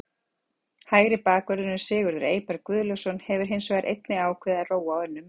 Hægri bakvörðurinn Sigurður Eyberg Guðlaugsson hefur hins vegar einnig ákveðið að róa á önnur mið.